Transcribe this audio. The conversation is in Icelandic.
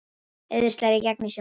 Eiður slær í gegn í sjónvarpinu